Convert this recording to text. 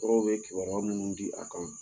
Dɔgɔtɔrɔw bɛ kibaruya minnu di a kan